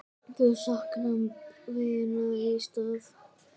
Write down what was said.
Þau sakna vinar í stað.